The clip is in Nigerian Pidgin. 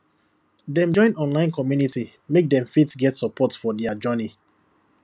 dem join online community make dem fit get support for dia journey